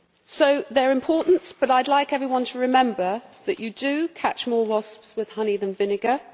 So they are important, but I would like everyone to remember that you do catch more wasps with honey than vinegar.